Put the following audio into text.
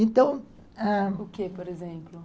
Então...Ãh, o quê, por exemplo?